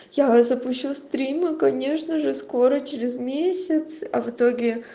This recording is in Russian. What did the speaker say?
я запущу стрим и конечно же скоро через месяц а в итоге